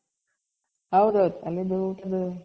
ಹೌದೌದು ಅಲ್ಲಿಂದು ಊಟದು